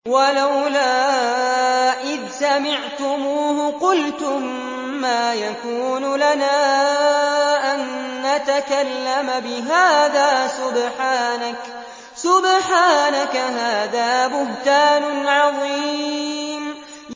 وَلَوْلَا إِذْ سَمِعْتُمُوهُ قُلْتُم مَّا يَكُونُ لَنَا أَن نَّتَكَلَّمَ بِهَٰذَا سُبْحَانَكَ هَٰذَا بُهْتَانٌ عَظِيمٌ